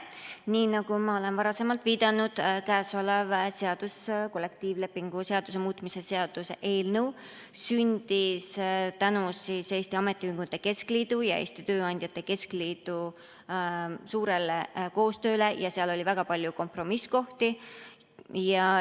Nii nagu ma olen varasemalt viidanud, siis käesolev kollektiivlepingu seaduse muutmise seaduse eelnõu sündis tänu Eesti Ametiühingute Keskliidu ja Eesti Tööandjate Keskliidu suurele koostööle ja seal on väga palju kompromisskohti.